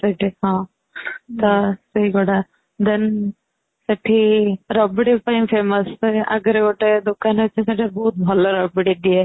ସେଠି ହଁ ସେଇଗୁଡ଼ା then ସେଠି ରାବିଡି ପାଇଁ famous ,ସେ ଆଗରେ ଗୋଟେ ଦୋକାନ ଅଛି ସେଠି ବହୁତ ଭଲ ରାବିଡି ଦିଏ |